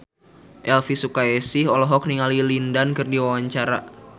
Elvy Sukaesih olohok ningali Lin Dan keur diwawancara